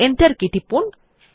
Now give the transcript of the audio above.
enter key টিপুন